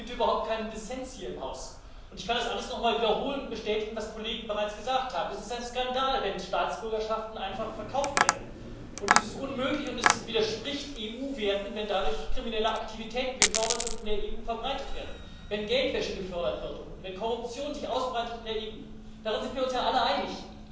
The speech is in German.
Es gibt überhaupt keinen Dissens hier im Haus, und ich kann das alles nochmal wiederholen und bestätigen, was Kollegen bereits gesagt haben Es ist ein Skandal, wenn Staatsbürgerschaften einfach verkauft werden, und es ist unmöglich und widerspricht EU Werten, wenn dadurch kriminelle Aktivitäten gefördert und in der EU verbreitet werden, wenn Geldwäsche gefördert wird und wenn Korruption sich in der EU ausbreitet darin sind wir uns ja alle einig.